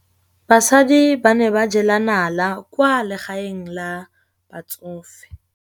Basadi ba ne ba jela nala kwaa legaeng la batsofe.